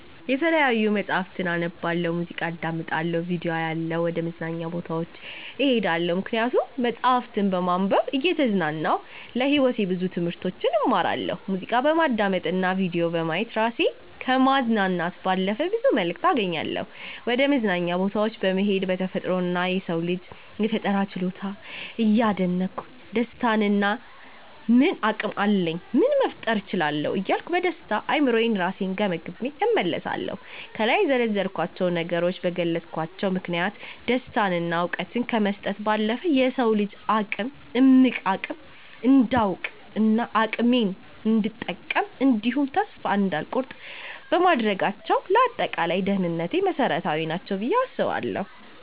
የተለያዩ መጽሀፍትን አነባለሁ፣ ሙዚቃ አዳምጣለሁ፣ ቪዲዮ አያለሁ፣ ወደ መዝናኛ ቦታዎች እሄዳለሁ። ምክንያቱም መጽሀፍትን በማንበብ እየተዝናናሁ ለህይወቴ ብዙ ትምህርቶችን እማራለሁ፣ ሙዚቃ በማዳመጥ እና ቪዲዮ በማየት እራሴን ከማዝናናት ባለፈ ብዙ መልክት አገኛለሁ፣ ወደመዝናኛ ቦታወች በመሄድ በተፈጥሮ እና የሰውን ልጅ የፈጠራ ችሎታ እያደነኩ ስደሰትና እኔ ምን አቅም አለኝ ምን መፍጠር እችላለሁ እያልኩ በደስተኛ አእምሮየ እራሴን ገምግሜ እመለሳለሁ። ከላይ የዘረዘርኳቸው ነገሮች በገለጽኳቸው ምክንያቶች ደስታን እና እውቀትን ከመስጠት ባለፈ የሰውን ልጅ እምቅ አቅም እንዳውቅ እና አቅሜን እንድጠቀም እንዲሁም ተስፋ እንዳልቆርጥ በማድረጋቸው ለአጠቃላይ ደህንነቴ መሰረታዊ ናቸው ብየ አስባለሁ።